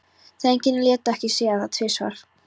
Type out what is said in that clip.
Drengirnir létu ekki segja sér það tvisvar.